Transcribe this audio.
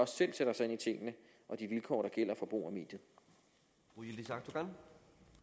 selv sætter sig ind i tingene og de vilkår der gælder for